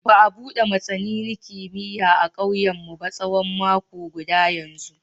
Ba a bude masanini kimiyya a kauyenmu ba tsawon mako guda yanzu.